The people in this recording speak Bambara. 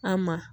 A ma